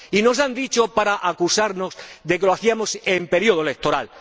Y nos han dicho, para acusarnos, que lo hacíamos en periodo electoral.